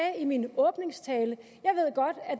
i min åbningstale